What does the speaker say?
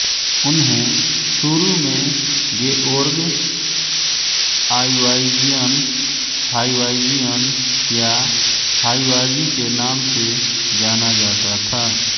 उन्हें शुरु में गेओर्ग आइवाज़ियन हाइवाज़ियन या हाइवाज़ी के नाम से जाना जाता था